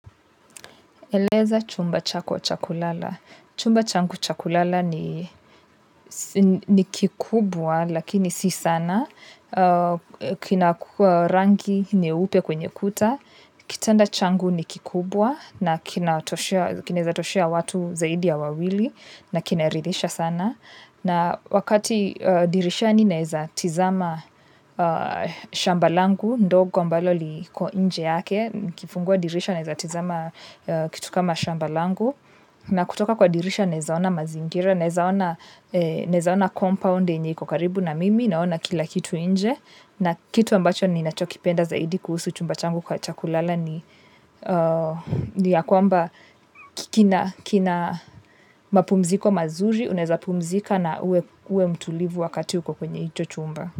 Eleza chumba chako cha kulala. Chumba changu cha kulala ni kikubwa lakini si sana. Kina kuwa rangi nyeupe kwenye kuta. Kitanda changu ni kikubwa na kinaeza toshea watu zaidi ya wawili na kinaridhisha sana. Na wakati dirishani naeza tizama shamba langu ndogo ambalo liko inje yake, nikifungua dirisha naeza tizama kitu kama shamba langu na kutoka kwa dirisha naeza ona mazingira, naeza ona compound yenye iko karibu na mimi, naona kila kitu inje na kitu ambacho ni nachokipenda zaidi kuhusu chumba changu cha kulala ni ya kwamba kina mapumziko mazuri, unaeza pumzika na uwe mtulivu wakati uko kwenye hicho chumba.